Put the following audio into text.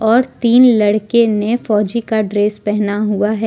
और तीन लड़के ने फौजी का ड्रेस पहना हुआ है।